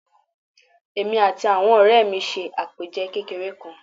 Èmi àti àwon òré mi se àpèje kékeré kan